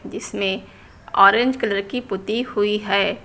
इसमें orange colour की पुती हुई है।